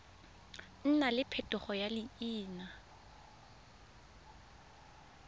nna le phetogo ya leina